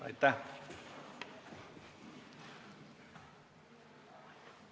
Aitäh!